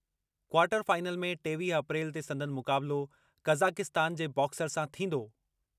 Quarter final में टेवीह अप्रैल ते संदनि मुकाबलो कज़ाकिस्तान जे बॉक्सर सां थींदो।